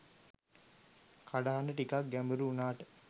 කටහඬ ටිකක් ගැඹුරු වුනාට